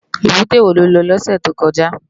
Ébùté wó ló lò lòsè tókòjá?